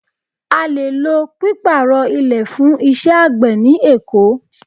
A lè lo Pípàrọ̀ ilẹ̀ fún iṣẹ́ àgbẹ̀ ni Èkó.